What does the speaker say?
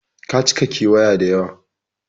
Ka cika ƙiwiya da yawa.